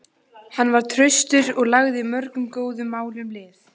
Hann var traustur og lagði mörgum góðum málum lið.